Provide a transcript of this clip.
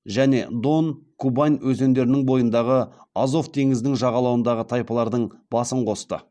және дон кубань өзендерінің бойындағы азов теңізінің жағалауындағы тайпалардың басын қосты